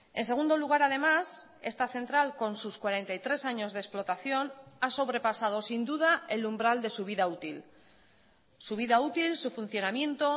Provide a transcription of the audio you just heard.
en segundo lugar además esta central con sus cuarenta y tres años de explotación ha sobrepasado sin duda el umbral de su vida útil su vida útil su funcionamiento